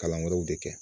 Kalan wɛrɛw de kɛ